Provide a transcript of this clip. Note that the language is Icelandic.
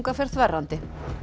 fer þverrandi